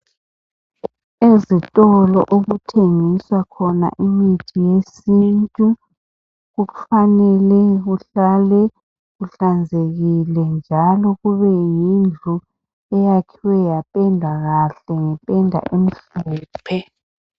Ezitolo okuthengiswa khona imithi yesintu kufanele kuhlale kuhlanzekile njalo kube yindlu eyakhiwe yapendwa kahle ngependa emhlophe.